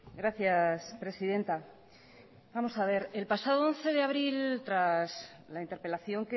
gracias presidenta vamos a ver el pasado once de abril tras la interpelación